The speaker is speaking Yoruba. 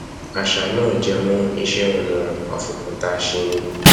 àṣà náà jẹmọ iṣẹ ọnà afòkúta ṣe ni